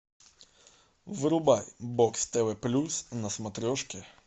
врубай бокс тв плюс на смотрешке